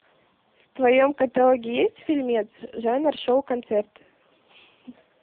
в твоем каталоге есть фильмец жанр шоу концерт